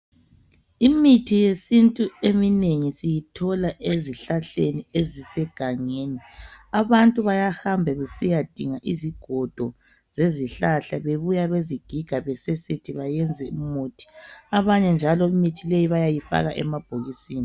Imithi yesintu eminengi siyithola ezihlahleni ezisegangeni. Abantu bayahamba besiyadinga izigodo zezihlahla..Babuya bazigige, basesethe, benze imithi. Abanye njalo, imithi le bayayifaka emabhokisini.